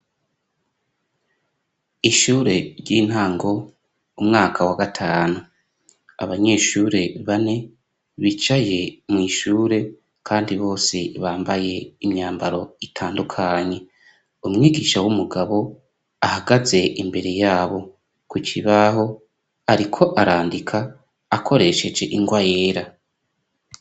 ishure ry'intango umwaka wa gatanu abanyeshure bane bicaye mu ishure kandi bose bambaye imyambaro itandukanye umwigisha w'umugabo ahagaze imbere yabo ku kibaho ariko arandika akoresheje ingwa yera